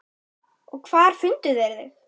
Og hvar fundu þeir þig.